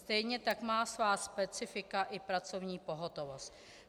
Stejně tak má svá specifika i pracovní pohotovost.